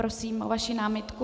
Prosím o vaši námitku.